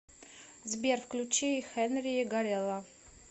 сбер включи хенри гарелла